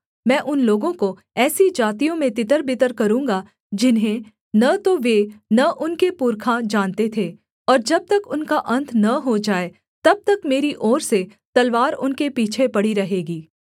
मैं उन लोगों को ऐसी जातियों में तितरबितर करूँगा जिन्हें न तो वे न उनके पुरखा जानते थे और जब तक उनका अन्त न हो जाए तब तक मेरी ओर से तलवार उनके पीछे पड़ी रहेगी